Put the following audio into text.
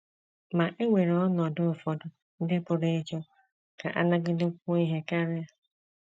Ma e nwere ọnọdụ ụfọdụ ndị pụrụ ịchọ ka a nagidekwuo ihe karị.